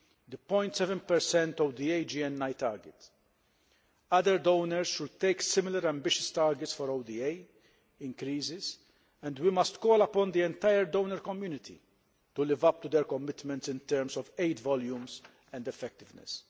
the 0.7 ODA GNI target. Other donors should take similar ambitious targets for ODA increases, and we must call upon the entire donor community to live up to their commitments in terms of aid volumes and effectiveness.